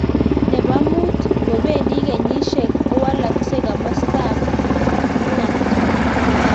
Nebo muut - ngopendi kenyisiek kowalaksei komastab wungat